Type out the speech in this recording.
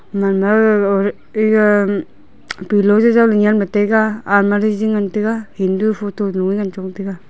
eya pillow jaujau ley nyemla almari jiji ngantaga hindu photo luye ngan chong taiga.